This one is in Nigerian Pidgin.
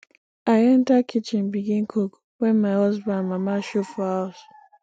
i enta kitchen begin cook wen my husband mama show for house